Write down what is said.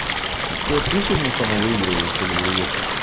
а что ты сегодня там выигрываешь что-ли в рулетку